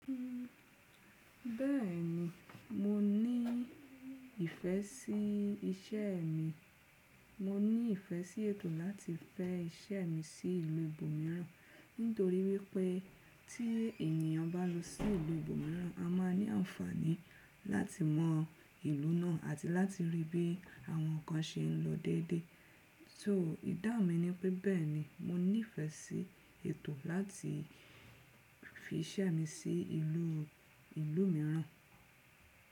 Bẹ́ẹ̀ni, mo ní ìfẹ́ sí iṣẹ́ mi. Mo ní ìfẹ́ sí ètò láti fẹ́ iṣẹ́ mi sí ìlú ibòmíràn, nítorí wípẹ́ tí ènìyàn bá lọ sí ìlú ibòmíràn, a máa ní àǹfààní láti mọ ìlú náà àti láti rí bí àwọn ǹkan se ń lọ déédé. Só ìdáhun mi ni pé bẹ́ẹ̀ni mo ní ìfẹ́ sí ètò láti fi iṣẹ́ mi sí ìlú, ìlú mìíràn.